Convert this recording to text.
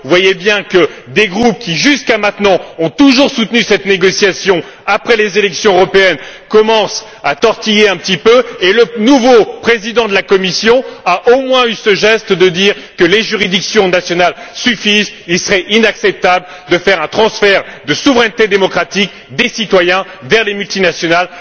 Vous voyez bien que des groupes qui, jusqu'à maintenant, ont toujours soutenu cette négociation après les élections européennes commencent à tortiller un petit peu et le nouveau président de la Commission a, au moins, eu ce geste de dire que les juridictions nationales suffisent, qu'il serait inacceptable de faire un transfert de souveraineté démocratique des citoyens vers les multinationales.